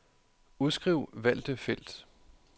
Udskriv valgte felt.